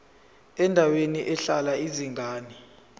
endaweni ehlala izingane